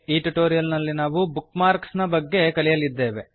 ಈ ಟ್ಯುಟೋರಿಯಲ್ ನಲ್ಲಿ ನಾವು ಬುಕ್ ಮಾರ್ಕ್ಸ್ ನ ಬಗ್ಗೆ ಕಲಿಯಲಿದ್ದೇವೆ